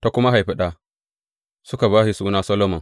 Ta kuma haifi ɗa, suka ba shi suna Solomon.